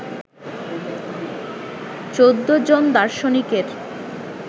চোদ্দোজন দার্শনিকের